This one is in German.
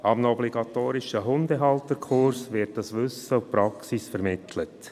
An einem obligatorischen Hundehalterkurs werden dieses Wissen und die Praxis vermittelt.